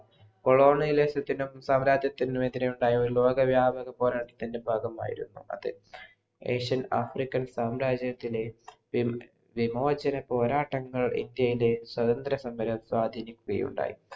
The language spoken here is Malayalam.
കൊളോണയിലെ സാമ്രാജ്യത്തിനു എതിരുണ്ടായ ലോക വ്യോമാക പോരാട്ടത്തിന് ഭാഗമായിരുന്നു അത് asianafrican സാമ്രാജ്യത്തിലെ വിമോചന പോരാട്ടങ്ങൾ ഇന്ത്യയിലെ സ്വതന്ത്ര സമര സ്വാധീനിക്കുകയുണ്ടായി